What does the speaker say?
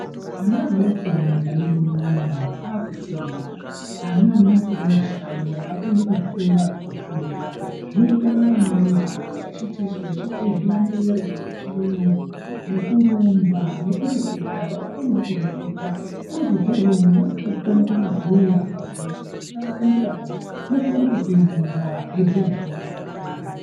Ana adoko munyika mwedu munomu akufunda. Ana ane makore mashanu akuende kuzvikora kofunda zvinoenderanawo navo vachiite zvilandero zvechiyungu, nekurumba nekureketa. Vanokonoo kureketa, unozobva iyeyeyo mwana akutokono kutobhuya. Akabvunzwe kuti zita rako ndiani, unokono kutopingura eibhuya zita rake.